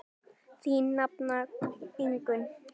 Þín nafna Ingunn.